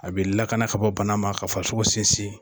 A be lakana ka bɔ bana ma ka farisoko sinsin.